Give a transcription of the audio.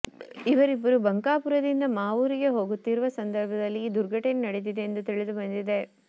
ಇವರಿಬ್ಬರು ಬಂಕಾಪುರದಿಂದ ಮಾವೂರಿಗೆ ಹೋಗುತ್ತಿರುವ ಸಂದರ್ಭದಲ್ಲಿ ಈ ದುರ್ಘಟನೆ ನಡೆದಿದೆ ಎಂದು ತಿಳಿದು ಬಂದಿದೆ